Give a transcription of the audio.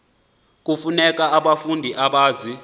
kufuneka ubafunde ubazi